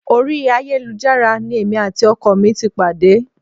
Orí ayélujára ni èmi àti ọkọ mi ti pàdé